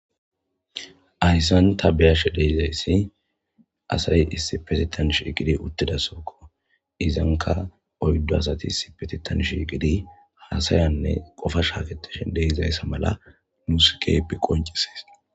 Hayssan tavbeyashe de'izayssi asay issi petitan shiigidi uttidasokko izanka oyddu asati isipetitan shigidi haasayanne qofashafetesh deizayssa mala nuus kehepe qoncisees